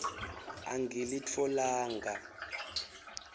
angilitfolanga